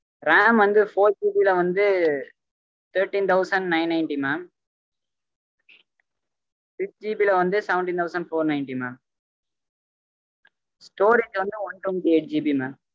RAM வந்து 4G ல வந்து thirteen thousand nine ninety mamsixGB ல வந்து seventeen thousand four ninety mamstorage வந்து one twenty eightGBmam